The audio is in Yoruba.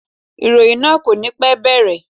Ìròyìn náà kò ní pẹ́ bẹ̀rẹ̀.